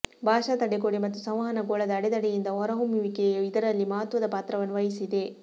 ಭಾಷಾ ತಡೆಗೋಡೆ ಮತ್ತು ಸಂವಹನ ಗೋಳದ ಅಡೆತಡೆಯಿಂದ ಹೊರಹೊಮ್ಮುವಿಕೆಯು ಇದರಲ್ಲಿ ಮಹತ್ವದ ಪಾತ್ರವನ್ನು ವಹಿಸಿದೆ